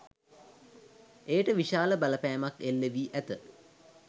එයට විශාල බලපෑමක් එල්ලවී ඇත.